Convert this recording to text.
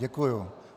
Děkuji.